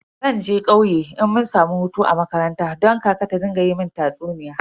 Zan je kauye idan mun samu hutu a makaranta don kaka ta rika mun tatsuniya.